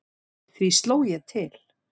Því sló ég til.